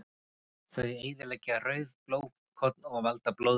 Þau eyðileggja rauð blóðkorn og valda blóðleysi.